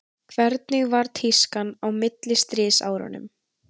hvernig var tískan á millistríðsárunum